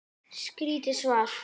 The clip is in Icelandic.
Skýrt svar!